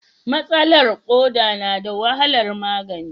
Matsalar koda na da wahalar magani.